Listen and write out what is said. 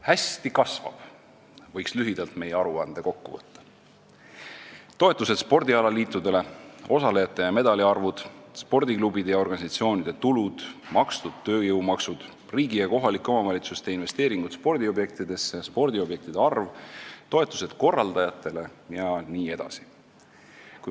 Meie aruande võiks lühidalt kokku võtta nii, et hästi kasvab: toetused spordialaliitudele, osalejate ja medalite arvud, spordiklubide ja organisatsioonide tulud, makstud tööjõumaksud, riigi ja kohalike omavalitsuste investeeringud spordiobjektidesse, spordiobjektide arv, toetused korraldajatele jne.